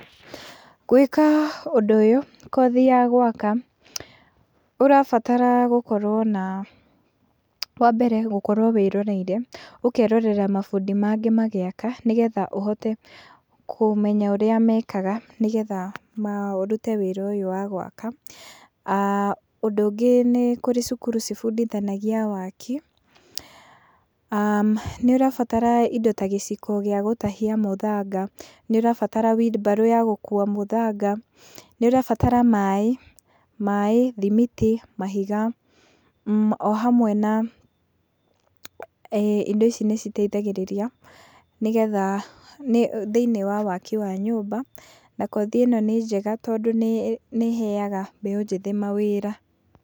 Gwĩka ũndũ ũyũ kothi ya gwaka , ũrabatara gũkorwo na wambere gũkorwo wĩroreire , ũkerorera mabundi mangĩ magĩaka nĩgetha ũhote kũmenya ũrĩa mekaga nĩgetha ũrute wĩra ũyũ wa gwaka , ũndũ ũngĩ nĩ kũrĩ cukuru cibundithanagia waki, a nĩ ũrabatara indo ta gĩciko gĩa gũtahia mũthanga, nĩ ũrabatara wheel barrow ya gũkua mũthanga, nĩ ũrabatara maaĩ, maaĩ ,thimiti , mahiga o hamwe na , ee indo ici nĩ citeithagĩrĩria nĩgetha thĩiniĩ wa wakĩ wa nyũmba, na kothi ĩno nĩ njega tondũ nĩ ĩheaga mbeũ njĩthĩ mawĩra.